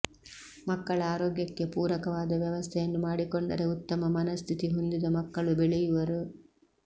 ಮಕ್ಕಳ ಆರೋಗ್ಯಕ್ಕೆ ಪೂರಕವಾದ ವ್ಯವಸ್ಥೆಯನ್ನು ಮಾಡಿಕೊಂಡರೆ ಉತ್ತಮ ಮನಸ್ಥಿತಿ ಹೊಂದಿದ ಮಕ್ಕಳು ಬೆಳೆಯುವರು